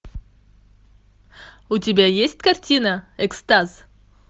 у тебя есть картина экстаз